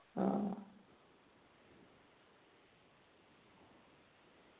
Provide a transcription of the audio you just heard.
ആ